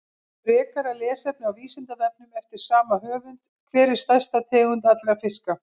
Frekara lesefni á Vísindavefnum eftir sama höfund: Hver er stærsta tegund allra fiska?